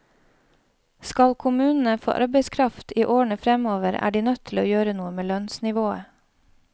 Skal kommunene få arbeidskraft i årene fremover, er de nødt til å gjøre noe med lønnsnivået.